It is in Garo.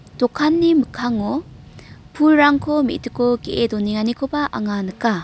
dokanni mikkango pulrangko me·diko ge·e donenganikoba anga nika.